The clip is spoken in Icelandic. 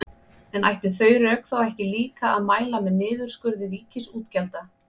En ættu þau rök þá ekki líka að mæla með niðurskurði ríkisútgjalda?